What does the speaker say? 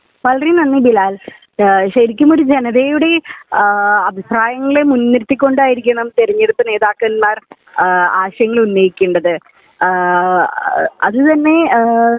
വളരെ നന്ദി ബിലാൽ . ശരിക്കും ഒരു ജനതയുടെ ആ അഭിപ്രായങ്ങളെ മുൻ നിർത്തികൊണ്ടായിരിക്കണം തിരഞ്ഞെടുപ്പ് നേതാക്കന്മാർ ആ ആശയങ്ങൾഉന്നയിക്കേണ്ടത് . അആ അത് തന്നെ